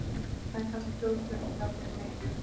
Það er kallað þjóðflutningarnir miklu.